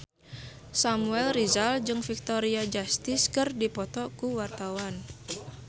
Samuel Rizal jeung Victoria Justice keur dipoto ku wartawan